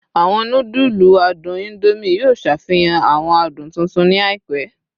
Awọn nudulu adun Indomie yoo ṣafihan awọn adun tuntun ni àìpẹ